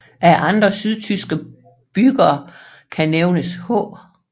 Af andre sydtyske byggere kan nævnes H